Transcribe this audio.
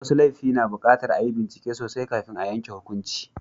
Wasu laifi na buƙatar a yi bincike sosai kafin a yanke hukunci.